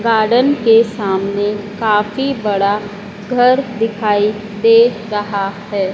Garden के सामने काफी बड़ा घर दिखाई दे रहा है।